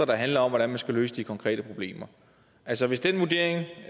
der handler om hvordan man skal løse de konkrete problemer altså hvis den vurdering